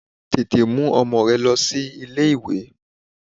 Tètè mú ọmọ rẹ lọ sí ilé ìwé!